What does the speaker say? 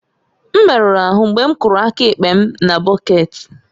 M merụrụ ahụ mgbe m kụrụ aka ekpe m na bọket